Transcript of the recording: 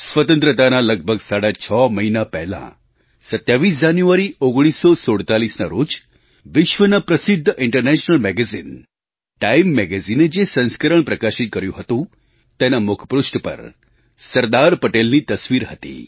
સ્વતંત્રતાના લગભગ સાડા છ મહિના પહેલાં 27 જાન્યુઆરી 1947ના રોજ વિશ્વના પ્રસિદ્ધ ઇન્ટરનેશનલ મેગેઝીન TimeMagazineએ જે સંસ્કરણ પ્રકાશિત કર્યું હતું તેના મુખપૃષ્ઠ પર સરદાર પટેલની તસવીર હતી